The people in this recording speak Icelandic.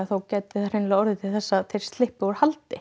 gætu jafnvel orðið til þess að þeir slyppu úr haldi